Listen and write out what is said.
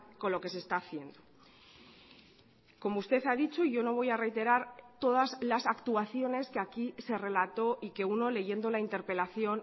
con lo que se está haciendo como usted ha dicho yo no voy a reiterar todas las actuaciones que aquí se relató y que uno leyendo la interpelación